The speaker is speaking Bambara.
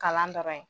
Kalan dɔrɔn ye